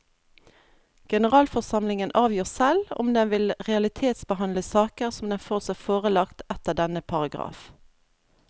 Generalforsamlingen avgjør selv om den vil realitetsbehandle saker som den får seg forelagt etter denne paragraf.